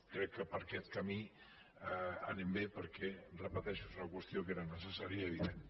crec que per aquest camí anem bé perquè repeteixo és una qüestió que era necessària i evident